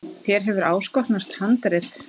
Þér hefur áskotnast handrit.